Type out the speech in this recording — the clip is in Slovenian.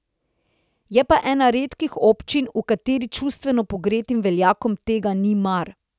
Je pa ena redkih občin, v kateri čustveno pregretim veljakom tega ni mar.